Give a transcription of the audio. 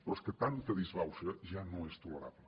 però és que tanta disbauxa ja no és tolerable